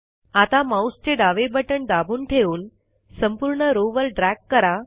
आता माऊसचे डावे बटण दाबून ठेवून संपूर्ण रो वर ड्रॅग करा